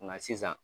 Nka sisan